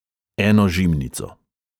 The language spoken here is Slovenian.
Eno žimnico.